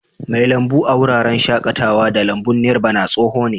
Mai lambu a wuraren shakatawa da lambun Nirvana tsoho ne.